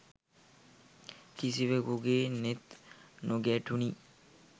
කිසිවෙකුගේ නෙත් නොගැටුනි